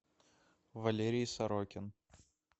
валерий сорокин